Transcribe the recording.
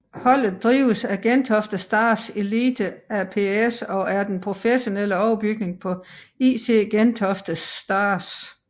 Holdet drives af Gentofte Stars Elite ApS og er den professionelle overbygning på IC Gentofte Stars